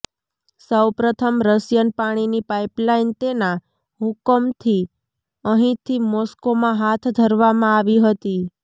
સૌ પ્રથમ રશિયન પાણીની પાઇપલાઇન તેના હુકમથી અહીંથી મોસ્કોમાં હાથ ધરવામાં આવી હતી